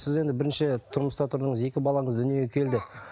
сіз енді бірінші тұрмыста тұрдыңыз екі балаңыз дүниеге келді